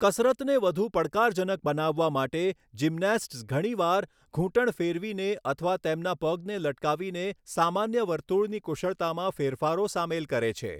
કસરતને વધુ પડકારજનક બનાવવા માટે, જિમ્નેસ્ટ્સ ઘણી વાર ઘૂંટણ ફેરવીને અથવા તેમના પગને લટકાવીને સામાન્ય વર્તુળની કુશળતામાં ફેરફારો સામેલ કરે છે.